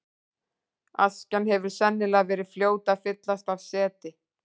Askjan hefur sennilega verið fljót að fyllast af seti.